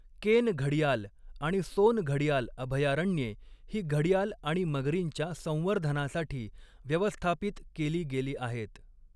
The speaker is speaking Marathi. केन घडियाल आणि सोन घडियाल अभयारण्ये ही घडियाल आणि मगरींच्या संवर्धनासाठी व्यवस्थापित केली गेली आहेत.